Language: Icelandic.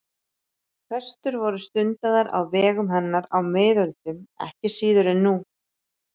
Föstur voru stundaðar á vegum hennar á miðöldum ekki síður en nú.